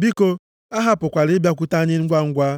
“Biko, ahapụla ịbịakwute anyị ngwangwa.”